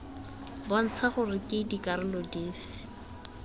bontsha gore ke dikarolo dife